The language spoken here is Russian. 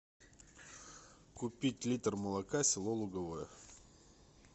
купить литр молока село луговое